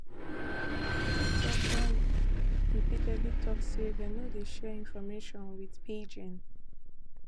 tiktok don repeatedly tok say dem no dey share information wit beijing